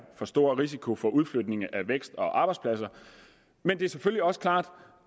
for stor risiko for udflytning af vækst og arbejdspladser men det er selvfølgelig også klart